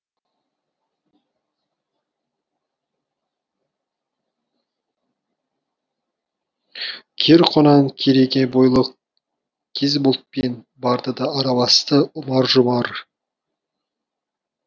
кер құнан кереге бойлы кез бұлтпен барды да араласты ұмар жұмар